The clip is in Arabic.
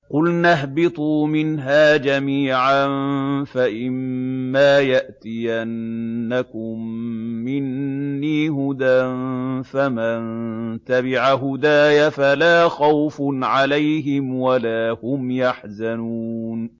قُلْنَا اهْبِطُوا مِنْهَا جَمِيعًا ۖ فَإِمَّا يَأْتِيَنَّكُم مِّنِّي هُدًى فَمَن تَبِعَ هُدَايَ فَلَا خَوْفٌ عَلَيْهِمْ وَلَا هُمْ يَحْزَنُونَ